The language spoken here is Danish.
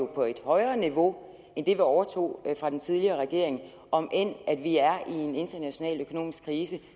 på et højere niveau end det vi overtog fra den tidligere regering om end vi er i en international økonomisk krise